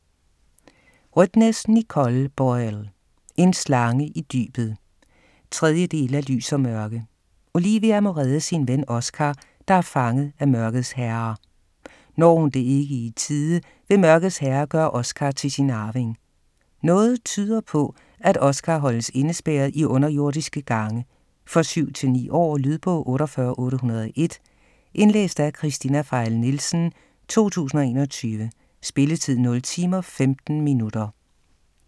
Rødtnes, Nicole Boyle: En slange i dybet 3. del af Lys & Mørke. Olivia må redde sin ven, Oscar, der er fanget af mørkets herre. Når hun det ikke i tide, vil mørkets herre gøre Oscar til sin arving. Noget tyder på, at Oscar holdes indespærret i underjordiske gange. For 7-9 år. Lydbog 48801 Indlæst af Kristina Pfeil Nielsen, 2021. Spilletid: 0 timer, 15 minutter.